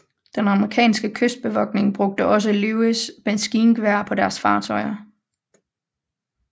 Den amerikanske kystbevogtning brugte også Lewis maskingeværer på deres fartøjer